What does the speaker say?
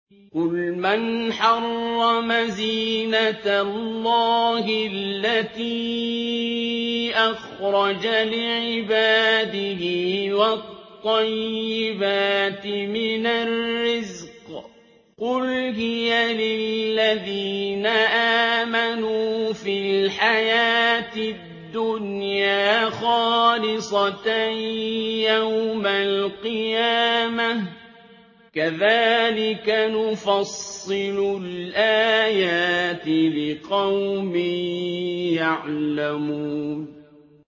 قُلْ مَنْ حَرَّمَ زِينَةَ اللَّهِ الَّتِي أَخْرَجَ لِعِبَادِهِ وَالطَّيِّبَاتِ مِنَ الرِّزْقِ ۚ قُلْ هِيَ لِلَّذِينَ آمَنُوا فِي الْحَيَاةِ الدُّنْيَا خَالِصَةً يَوْمَ الْقِيَامَةِ ۗ كَذَٰلِكَ نُفَصِّلُ الْآيَاتِ لِقَوْمٍ يَعْلَمُونَ